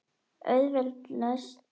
Auðveld lausn.